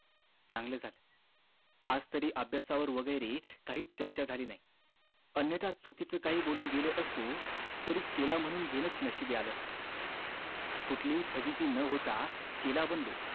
चांगलं झालं आज तरी अभ्यासा वर वैगेरे काही चर्चा झाली नाही अन्यथा काही चुकीचं बोलून गेलो असतो तरी चेला म्हणून घेणंच नशिबी आलं असत कुठली हि फाज़िती न होता चेला बनलो